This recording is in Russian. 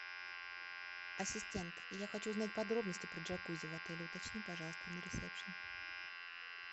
ассистент я хочу узнать подробности про джакузи в отеле уточни пожалуйста на ресепшен